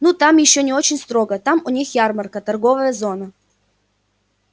ну там ещё не очень строго там у них ярмарка торговая зона